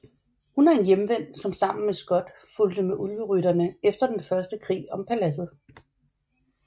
Hun er en Hjemvendt som sammen med Skot fulgte med Ulverytterne efter den første krig om Paladset